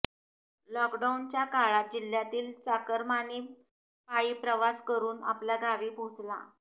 लॉकडाऊनच्या काळात जिल्ह्यातील चाकरमानी पायी प्रवास करून आपल्या गावी पोहचला